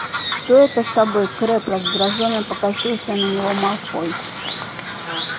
что это с тобой крэбб раздражённо покосился на него малфой